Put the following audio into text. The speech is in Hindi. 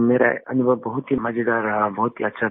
मेरा अनुभव बहुत ही मजेदार रहा बहुत ही अच्छा था